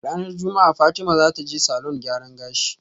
Ranar juma'a Fatima zataje salon gyaran gashi